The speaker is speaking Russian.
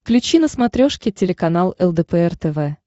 включи на смотрешке телеканал лдпр тв